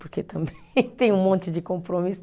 Porque também tem um monte de compromisso.